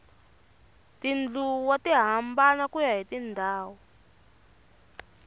tindluwa ti hambana kuya hi ndhawu